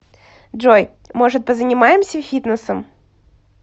джой может позанимаемся фитнесом